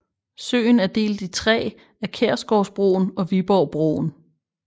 Søen er delt i tre af Kærsgårdsbroen og Viborgbroen